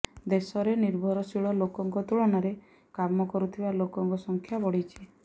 ଦେଶରେ ନିର୍ଭରଶୀଳ ଲୋକଙ୍କ ତୁଳନାରେ କାମ କରୁଥିବା ଲୋକଙ୍କ ସଂଖ୍ୟା ବଢ଼ିଛି